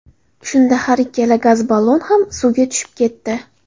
Shunda har ikkala gaz ballon ham suvga tushib ketdi.